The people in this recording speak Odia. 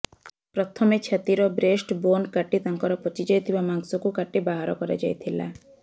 ପ୍ରଥମେ ଛାତିର ବ୍ରେଷ୍ଟ ବୋନ୍କ କାଟି ତାଙ୍କର ପଚିଯାଇଥିବା ମାଂସକୁ କାଟି ବାହର କରାଯାଇଥିଲା